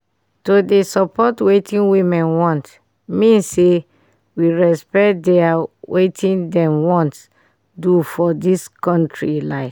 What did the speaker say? to dey support wetin women want mean say we respect dia wetin dem wan do for dis kontri like